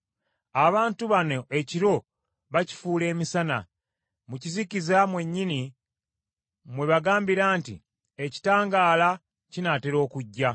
Abantu bano ekiro bakifuula emisana; mu kizikiza mwennyini mwe bagambira nti, Ekitangaala kinaatera okujja.